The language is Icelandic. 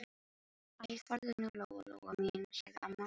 Æ, farðu nú, Lóa-Lóa mín, sagði amma.